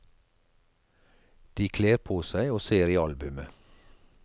De kler på seg og ser i albumet.